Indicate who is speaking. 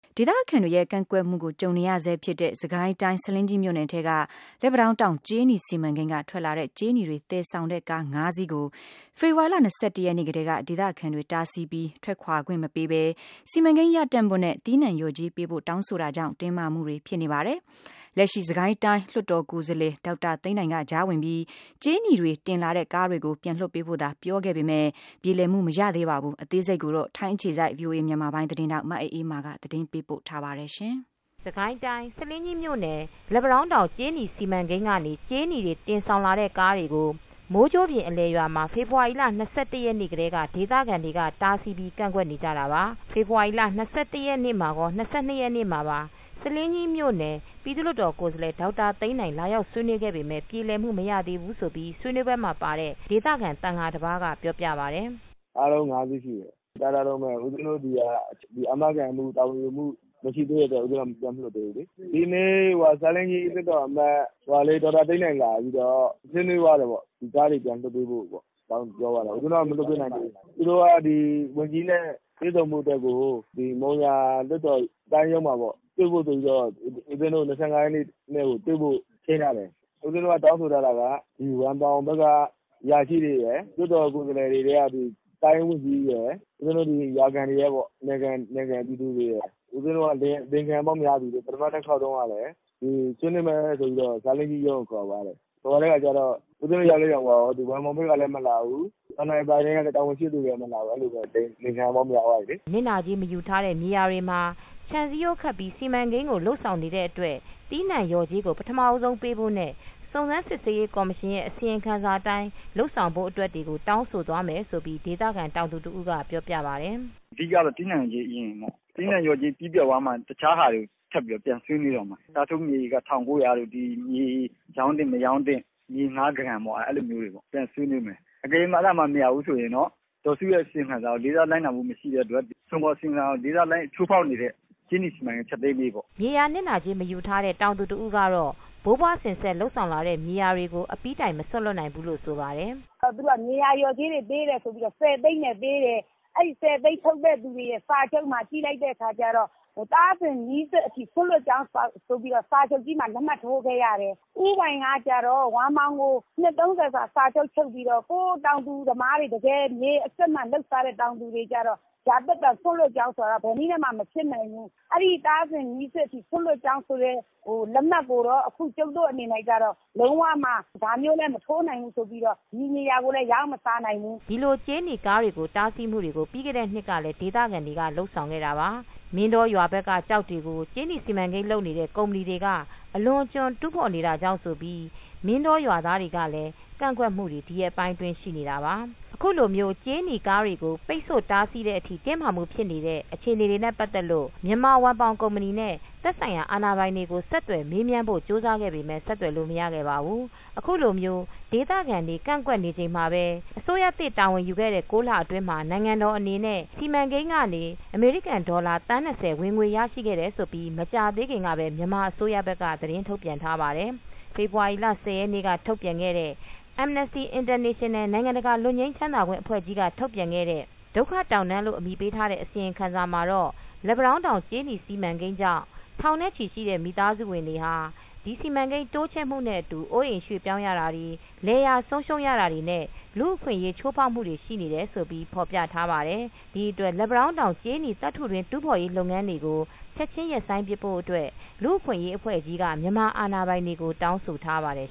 Speaker 1: ဒေသခံတွေရဲ့ကန့်ကွက်မူကိုကြုံနေရဆဲဖြစ်တဲ့ စစ်ကိုင်းတိုင်း၊ ဆားလင်းကြီးမြို့နယ်ထဲက လက်ပံတောင်းတောင် ကြေးနီစီမံကိန်းက ထွက်လာတဲ့ ကြေးနီတွေသယ်ဆောင်လာတဲ့ ကား၅စီးကို ဖေဖော်ဝါရီ ၂၁ရက်နေ့ ကတည်း ဒေသခံတွေက တားဆီးထားပြီး ထွက်ခွာခွင့်မပေးပဲ စီမံကိန်းရပ်တန့်ဖို့ နဲ့ သီးနံှလျော်ကြေးပေး ဖို့ တောင်းဆိုတာကြောင့်တင်းမာမှုတွေဖြစ်နေပါတယ်။ လက်ရှိ စစ်ကိုင်းတိုင်း လွတ်တော်ကိုယ်စားလှယ်ဒေါက်တာသိန်းနိုင်က ကြားဝင်ပြီး ကြေးနီတွေ တင်လာတဲ့ ကားတွေ ကိုပြန်လွတ်ပေးဖို့ သာ ပြောဆိုခဲ့ပေမယ့် ပြေလည်မူမရသေးပါဘူး။ မအေးအေးမာက သတင်းပေးပို့ထားပါတယ်
Speaker 2: ။ စစ်ကိုင်းတိုင်း၊ ဆားလင်းကြီးမြို့နယ်ထဲက လက်ပံတောင်းတောင် ကြေးနီစီမံကိန်း ကနေ ကြေးနီးတင်ဆောင်လာတဲ့ကားတွေ ကို မိုးကြိုးပြင်အလယ်ရွာမှာ ဖေဖေါ်ဝါရီလ ၂၁ရက်နေ့ကတည်းက ဒေသခံတွေက တားဆီးပြီး ကန့်ကွက်နေကြတာပါ။ဖေဖေါ်ဝါရီလ ၂၁ရက်နေ့မှာကော ၂၂ရက်မှာပါ ဆားလင်းကြီးမြို့နယ် ပြည်သူ့လွတ်တော် ကိုယ်စားလှယ် ဒေါက်တာသိန်းနိုင် လာရောက်ဆွေးနွေးခဲ့ပေမယ့် ပြေလည်မူမရသေးဘူး လို့ဆွေးနွေပွဲမှာပါတဲ့ ဒေသခံ သံဃာတပါးကပြောပြပါတယ
Speaker 3: ်။ “အားလုံး ၅ စီးရှိတယ် ရပ်ထားတုန်းပဲ ဦးပဉ္စဉ်း တို့စီက။ ဒီလို အာမခံမှု တာဝန်ယူမှုမရှိသေးတဲ့အတွက် ဦးပဉ္စဉ်းတို့က ပြန်မလွှတ်သေးဘူးလေ။ ဒီနေ့ ဆားလင်းကြီးလွှတ်တော်အမတ် ဒေါက်တာသိန်းနိုင်လာပြီးတော့ ဆွေးနွေးသွားတယ်ပေါ့၊ ဒီကားတွေပြန်လွှတ်ပေးဖို့ကို ပြောသွားတာ၊ ဦးပဉ္စဉ်း တို့က ပြန်မလွှတ်ပေးနိုင်သေးဘူး။ ဦးပဉ္စဉ်း တို့က ဒီဝန်ကြီးနဲ့ တွေ့ဆုံဖို့အတွက်ကို မုံရွာလွှတ်တော် ၊ တိုင်းရုံးမှာပေါ့ တွေ့ဖို့ ဆိုပြီးတော့ ဦးပဉ္စဉ်း တို့ ၂၅ ရက်နေ့ ကို တွေ့ဖို့ ချိန်းထားတယ်။ ဦးပဉ္စဉ်း တို့က တောင်းဆိုထားတာ က ဝမ်ပေါင်ဘက်က အရာရှိတွေရယ်၊လွှတ်တော် ကိုယ်စားလှယ်ထဲကဆိုရင် တိုင်းဝန်ကြီးတွေရယ် ၊ ဦးပဉ္စဉ်း တို့ဒီနယ်ခံ ပြည်သူတွေရယ်။ ဦးပဉ္စဉ်း တို့ကလိမ်ခံရပေါင်းများပြီလေ၊ ပထမတခေါက်တုန်း ကလည်း ဆွေးနွေးမယ် ဆိုပြီးတော့ ဆားလင်းကြီးရုံးကိုခေါ်သွားတယ်။ ဟိုဘက်ရောက်လည်း ရောက်သွားရော ဝမ်ပေါင်ဘက်ကလည်း မလာဘူး၊ NLD ပါတီကလည်း တာဝန်ရှိတဲ့သူတွေလည်း မလာဘူး။ အဲလိုနဲ့ အလိမ်ခံရပေါင်းများပြီလေ။” နစ်နာ
Speaker 2: ကြေးမယူထားတဲ့မြေယာတွေမှာ ခြံစည်းရိုးခတ်ပြီး စီမံကိန်းကို လုပ်ဆောင်နေတာကြောင့် သီးနှံလျော်ကြေး ကို ပထမဦးဆုံးပေးဖို့နဲ့ စုံစမ်းရေး အစီရင်ခံစာအတိုင်းလုပ်ဆောင်ဖို့ တွေကို တောင်းဆိုသွားမယ်လို့
Speaker 3: ဒေသခံတောင်သူတဦးက ပြောပါတယ်။ “အဓိကတော့ သီးနှံကြေး အရင်ပေါ့နော် ၊သီးနှံလျော်ကြေးပြီးသွားမှ တခြားဟာတွေကို ထပ်ပြီးတော့ ပြန်ဆွေးနွေးမယ်။ အစားထိုးမြေဧက ၁၉၀၀ တို့၊ မြေရောင်းသင့် မရောင်းသင့်၊ မြေဌားဂရန်ပေါ့ အဲဒါတွေ ပြန်ဆွေးနွေးမယ်၊ အကယ်၍ အဲဒါတွေ မရဘူးဆိုရင် ဒေါ်စုရဲ့ အစီရင်ခံစာကို လေးစားလိုက်နာမှုမရှိတဲ့အတွက် ဒီအစီရင်ခံစာကို ချိုးဖောက်တဲ့အတွက် ဒီကြေးနီစီမံကိန်း ဖျက်သိမ်းပေးပေါ့။
Speaker 2: ” မြေနစ်နာကြေးမယူထားတဲ့တောင်သူတဦးကတော့ ဘိုးဘွားစဉ်ဆက် လုပ် လာတဲ့မြေယာတွေ ကို အပြီးတိုင် မစွန့်လွတ်နိုင်ဘူးလို့ဆိုပါတယ်
Speaker 4: ။ “သူတို့က မြေယာတွေကို လျှော်ကြေးတွေပေးတယ်ဆိုပြီးတော့ ၁၀ သိန်းနဲ့ ပေးတယ်၊ အဲဒီ ၁၀ သိန်းထုတ်တဲ့လူတွေရဲ့ စာချုပ်မှာ ကြည့်လိုက်တဲ့အခါကျတော့ သားစဉ်မြေးဆက်အထိ စွန့်လွှတ်ကြောင်းဆိုပြီးတော့ စာချုပ်မှာ လက်မှတ်ထိုးခဲ့ရတယ်။ ဦးပိုင်ကကျတော့ ဝမ်ပေါင်ကို နှစ် ၃၀ စာချုပ်ချုပ်ပြီးတော့ ဟိုတောင်သူလယ်သမားတွေ တကယ်မြေအစစ်အမှန်လိုက်စားတဲ့ တောင်သူတွေကျတော့ ရာသက်ပန် စွန့်လွှတ်ကြောင်း ဘယ်နည်းနဲ့မှ မဖြစ်နိုင်ဘူး ၊ အဲဒီ သားစဉ်မြေးဆက်အထိ စွန့်လွှတ်ကြောင်း လက်မှတ်ကိုတော့ကျမတို့အနေနဲ့ လုံး၀ ဒါမျိုး လက်မှတ်မထိုး နိုင်ဘူးဆိုပြီးတော့ ဒီနေရာကိုလည်း ရောင်းမစားနိုင်ဘူး။
Speaker 2: ” ဒီလို ကြေးနီးကားတွေကိုတားဆီးမူကို ပြီးခဲ့တဲ့နှစ်ကလည်းဒေသခံတွေကလုပ်ဆောင်ခဲ့တာပါ။ မင်းတောရွာဘက်က ကျောက်တွေကို ကြေးနီစီမံကိန်းလုပ်နေတဲ့ ကုမ္ပဏီ တွေက အလွန်အကျွံတူးဖော်နေတာကြောင့်ဆိုပြီး မင်းတောရွာသားတွေကလည်း ကန့်ကွက်မှု တွေ ဒီရက်ပိုင်း အတွင်းရှိနေတာပါ။ အခုလိုကြေးနီးကားတွေ ကိုပိတ်ဆိုတားဆီးတဲ့အထိတင်းမာမူဖြစ်နေတဲ့ အခြေအနေတွေနဲ့ ပတ်သက်လို့မြန်မာဝမ်ပေါင် ကုမ္ပဏီနဲ့ သက်ဆိုင်ရာ အာဏာပိုင်တွေကို ဆက်သွယ်မေးမြန်းဖို့ ကြိုးစားခဲ့ပေမယ့် ဆက်သွယ်လို့ မရခဲ့ ပါဘူး။ အခုလို ဒေသခံတွေက ကန့်ကွက်နေချိန် မှာပဲ အစိုးရသစ်တာဝန်ယူခဲ့တဲ့ ၉လအတွင်းမှာနိုင်ငံတော် အနေနဲ့ ဒီစီမံကိန်းကနေအမေရိကန်ဒေါ်လာ သန်း၂၀ ဝင်ငွေ ရရှိခဲ့တယ်လို့ မကြာခင်ကပဲမြန်မာ အစိုးရဘက်က ထုတ်ပြန်ထားပါတယ်။ ဖေဖော်ဝါရီ ၁၀ ရက်နေ့က ထုတ်ပြန်တဲ့ လူ့အခွင့်အရေးအဖွဲ့ ရဲ့"ဒုက္ခတောင်တန်း"လို့ အမည်ပေးထားတဲ့ အစီရင်ခံစာမှာတော့ လက်ပံတောင်းကြေးနီ စီမံကိန်း ကြောင့် ထောင်နဲ့ချီတဲ့ မိသားစုတွေဟာ ဒီစီမံကိန်း တိုးချဲ့မှုနဲ့အတူ အိုးအိမ်ရွှေ့ပြောင်း ရတာ၊ လယ်ယာဆုံးရှုံးရတာတွေ နဲ့ လူအခွင့်ရေး ချိုးဖောက်မှုတွေ ရှိနေတယ်လို့ ဖော်ပြထားတာပါ။ဒီအတွက်လက်ပံတောင်းတောင် ကြေးနီသတ္တုတွင်း တူးဖေါ်ရေးလုပ်ငန်းကို ချက်ချင်း ရပ်ဆိုင်းပစ်ဖို့ အတွက် လူ့အခွင့်ရေး အဖွဲ့ကြီးက မြန်မာအာဏာပိုင်တွေ ကို တောင်းဆိုခဲ့ပါတယ်